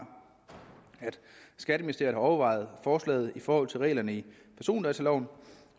at skatteministeriet har overvejet forslaget i forhold til reglerne i persondataloven